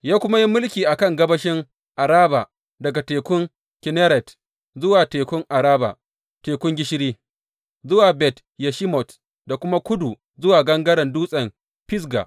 Ya kuma yi mulki a kan gabashin Araba daga tekun Kinneret zuwa Tekun Araba wato, Tekun Gishiri, zuwa Bet Yeshimot da kuma kudu zuwa gangaren dutsen Fisga.